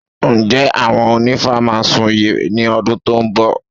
Ǹjẹ́ àwọn onífá máa sun ìyẹ̀rẹ̀ ní ọdún tó ń bọ̀?